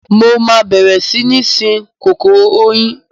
Mo máa bẹ̀rẹ̀ sí ní sin kòkòrò oyin.